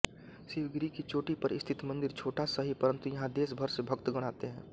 शिवगिरी की चोटी पर स्थित मंदिर छोटा सही परन्तु यहाँ देशभर से भक्तगण आते हैं